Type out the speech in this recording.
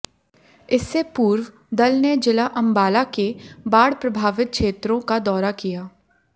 इससे पूर्व दल ने जिला अंबाला के बाढ़ प्रभावित क्षेत्रों का दौरा किया